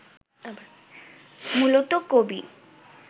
মূলত: কবি